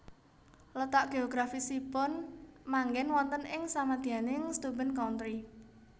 Letak geografisipun manggen wonten ing samadyaning Steuben Country